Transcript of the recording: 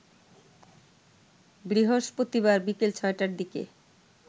বৃহষ্পতিবার বিকেল ৬ টার দিকে